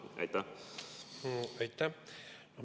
Aitäh!